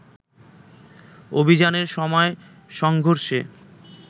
অভিযানের সময় সংঘর্ষে